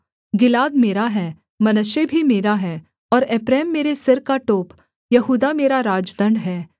गिलाद मेरा है मनश्शे भी मेरा है और एप्रैम मेरे सिर का टोप यहूदा मेरा राजदण्ड है